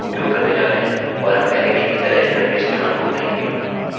हम वर्गाकार कोष्ठकों का उपयोग करने जा रहे हैं और हम अरैarrayके भीतर एलीमेंट के स्थान को कहेंगे